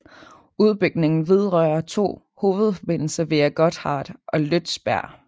Udbygningen vedrører to hovedforbindelser via Gotthard og Lötschberg